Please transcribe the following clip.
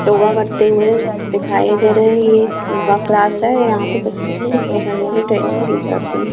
योगा करते हुए दिखाई दे रहें हैं ये एक योगा क्लास हैं यहां पे बच्चों को योगा करने में ट्रैनिंग दी जाती हैं।